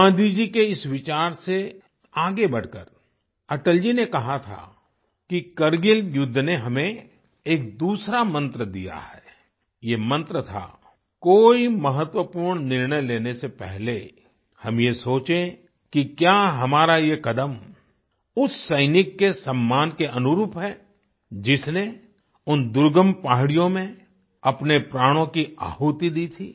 गाँधी जी के इस विचार से आगे बढ़कर अटल जी ने कहा था कि कारगिल युद्ध ने हमें एक दूसरा मंत्र दिया है ये मंत्र था कि कोई महत्वपूर्ण निर्णय लेने से पहले हम ये सोचें कि क्या हमारा ये कदम उस सैनिक के सम्मान के अनुरूप है जिसने उन दुर्गम पहाड़ियों में अपने प्राणों की आहुति दी थी